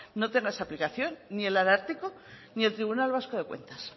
no tenga esa aplicación ni el ararteko ni el tribunal vasco de cuentas